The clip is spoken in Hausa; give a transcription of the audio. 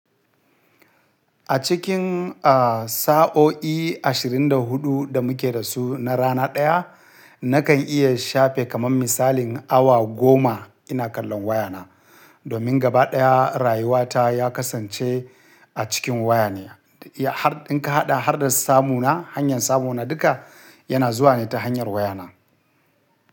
A cikin, a, sa'o'i ashirin da hudu da muke da su na rana ɗaya, nakan iya shafe kaman misalin awa goma ina kallon wayana. Domin gaba ɗaya rayuwata ya kasance a cikin waya ne. Ya har, in ka haɗa har da samu na, hanyar samu na duka yana zuwa ne ta hanyar wayana.